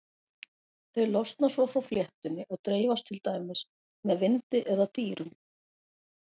Þau losna svo frá fléttunni og dreifast til dæmis með vindi eða dýrum.